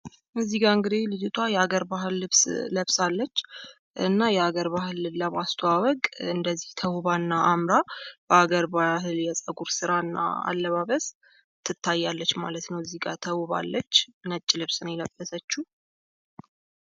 እዚህ ጋ እንግዲህ ልጅቷ የሃገር ባህል ልብስ ለብሳለች። የሀገር ባህል ልብስን ለማስተዋወቅ እንደዚህ አምራና ተዉባ በሀገር ባህል ልብስ የጸጉር ስራ እና አለባበስ ትታያለች። እዚህ ጋ ተውባለች ነጭ ልብስ ነው የለበሰችው።